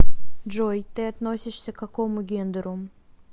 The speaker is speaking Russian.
джой ты относишься к какому гендеру